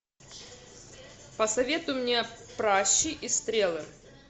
посоветуй мне пращи и стрелы